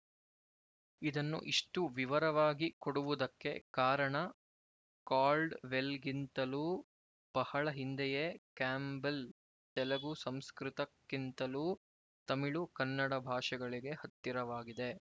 ಇದನ್ನು ಇಷ್ಟು ವಿವರವಾಗಿ ಕೊಡುವುದಕ್ಕೆ ಕಾರಣ ಕಾಲ್ಡ್‍ವೆಲ್‍ಗಿಂತಲೂ ಬಹಳ ಹಿಂದೆಯೇ ಕ್ಯಾಂಬೆಲ್ ತೆಲುಗು ಸಂಸ್ಕೃತ ಕ್ಕಿಂತಲೂ ತಮಿಳು ಕನ್ನಡ ಭಾಷೆಗಳಿಗೆ ಹತ್ತಿರವಾಗಿದೆ